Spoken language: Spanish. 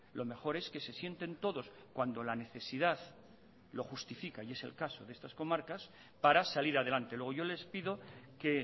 lo mejor es que se sienten todos cuando la necesidad lo justifica y es el caso de estas comarcas para salir adelante luego yo les pido que